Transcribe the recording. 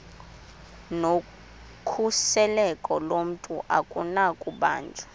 nokhuseleko lomntu akunakubanjwa